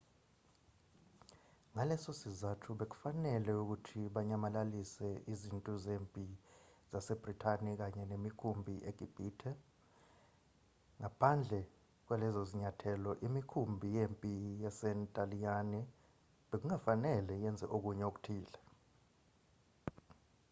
ngalesosizathu bekufanele ukuthi banyamalalise izintu zempi zasebrithani kanye nemikhumpi egibhithe. ngaphandle kwalezozinyathelo imikhumbi yempi yasentaliyane bekungafanele yenze okunye okuthile